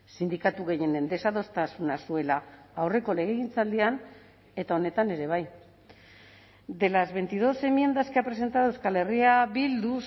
sindikatu gehienen desadostasuna zuela aurreko legegintzaldian eta honetan ere bai de las veintidós enmiendas que ha presentado euskal herria bildu